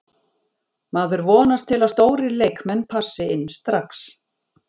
Maður vonast til að stórir leikmenn passi inn strax.